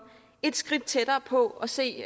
et skridt tættere på og se